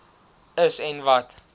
is en wat